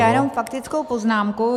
Já jenom faktickou poznámku.